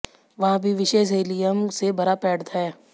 वहाँ भी विशेष हीलियम से भरा पैड है